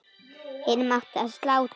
Hinum átti að slátra.